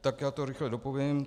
Tak já to rychle dopovím.